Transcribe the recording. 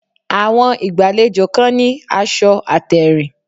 Àwọn ìgbàlejò kan ní aṣọ àtèrìn